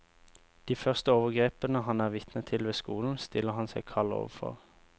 De første overgrepene han er vitne til ved skolen, stiller han seg kald overfor.